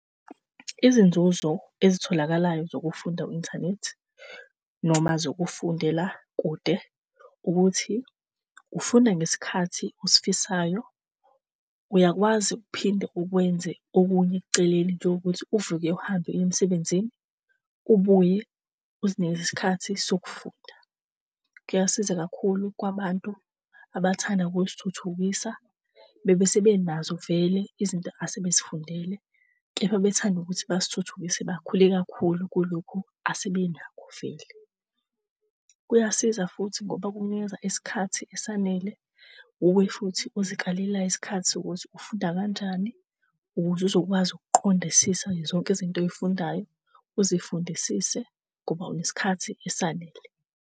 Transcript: Izinzuzo ezitholakalayo zokufunda internet noma zokufundela kude ukuthi ufunda ngesikhathi osifisayo. Uyakwazi uphinde ukwenze okunye eceleni nje ngokuthi uvuke uhambe uye emsebenzini ubuye uzinikeze isikhathi sokufunda. Kuyasiza kakhulu kwabantu abathanda ukuzithuthukisa bebesebenazo vele izinto asebezifundele, kepha bethanda ukuthi bazithuthukise bakhule kakhulu kulokhu asebenakho vele. Kuyasiza futhi ngoba kukunikeza isikhathi esanele, wuwe futhi ozikalelayo isikhathi sokuthi ufunda kanjani ukuze uzokwazi ukuqondisisa zonke izinto ozifundayo, uzifundisise ngoba unesikhathi esanele.